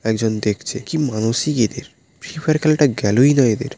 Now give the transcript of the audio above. একজন দেখছে কি মানুষই এদের? ফিফা -এর খেলাটা গেলোই না এদের।